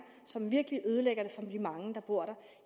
som virkelig ødelægger det for de mange der bor